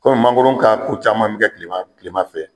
Kɔmi mangoron ka ko caman bɛ kɛ tilema tilema fɛ.